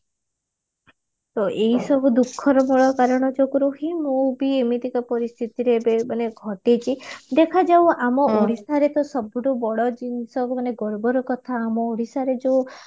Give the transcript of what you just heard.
ଏଇସବୁ ଦୁଖର ମୂଳ କାରଣ ଯୋଗୁ ହିଁ ମୁଁ ବି ଏମିତିକା ପରିସ୍ତିତିରେ ଏବେ ଘଟିଛି ମାନେ ଦେଖାଯାଉ ଆମେ ଓଡିଶା ରେ ତ ସବୁଠୁ ବଡ ଜିନିଷ ମାନେ ଗର୍ବର କଥା ମାନେ ଆମ ଓଡିଶାର ଯୋଉ